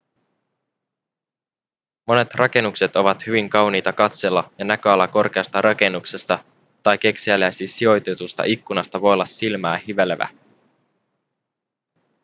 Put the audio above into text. monet rakennukset ovat hyvin kauniita katsella ja näköala korkeasta rakennuksesta tai kekseliäästi sijoitetusta ikkunasta voi olla silmää hivelevä